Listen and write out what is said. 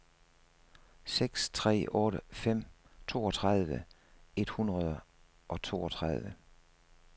seks tre otte fem toogtredive et hundrede og toogtredive